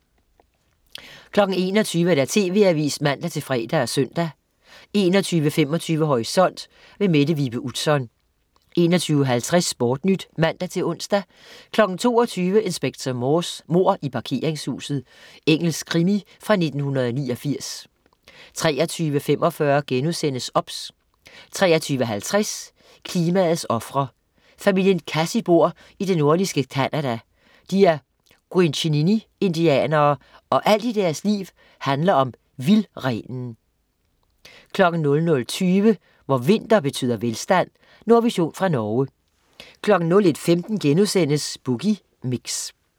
21.00 TV Avisen (man-fre og søn) 21.25 Horisont. Mette Vibe Utzon 21.50 SportNyt (man-ons) 22.00 Inspector Morse: Mord i parkeringshuset. Engelsk krimi fra 1989 23.45 OBS* 23.50 Klimaets ofre. Familien Kassi bor i det nordligste Canada, de er gwichinindianere, og alt i deres liv handler om vildrenen 00.20 Hvor vinter betyder velstand. Nordvision fra Norge 01.15 Boogie Mix*